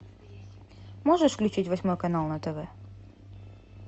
можешь включить восьмой канал на тв